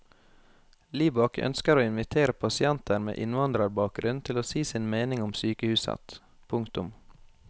Libak ønsker å invitere pasienter med innvandrerbakgrunn til å si sin mening om sykehuset. punktum